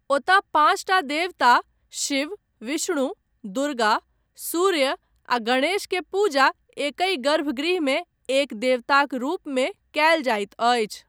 ओतय पाँचटा देवता, शिव, विष्णु, दुर्गा, सूर्य आ गणेश के पूजा एकहि गर्भगृहमे एक देवताक रूपमे कयल जाइत अछि।